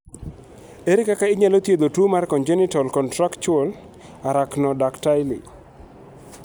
Ere kaka inyalo thiedh tuwo mar "congenital contractural arachnodactyly"?